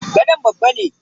gadon babba ne.